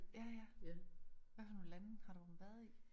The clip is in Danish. Ja ja hvad for nogle lande har du været i?